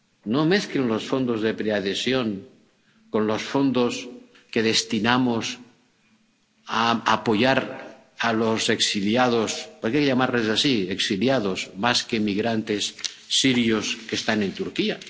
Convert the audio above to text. No mezclen los fondos de preadhesión con los fondos que destinamos a apoyar a los exiliados —habría que llamarlos así, exiliados, más que migrantes— sirios que están en Turquía.